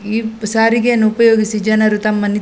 ಈ ಸಾರಿಗೆಯನ್ನು ಉಪಯೋಗಿಸಿ ಜನರು ತಮ್ಮ ನಿ --